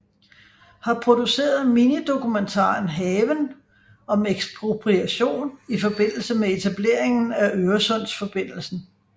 Har produceret minidokumentaren Haven om ekspropriation i forbindelse med etableringen af Øresundsforbindelsen